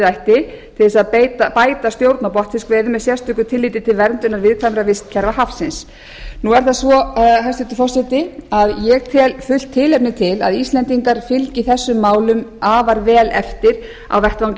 ætti til þess að bæta stjórn á botnfiskveiðum með sérstöku tilliti til verndunar viðkvæmra vistkerfa hafsins nú er það svo hæstvirtur forseti að ég tel fullt tilefni til efni til að íslendingar fylgi þessum málum afar vel eftir á vettvangi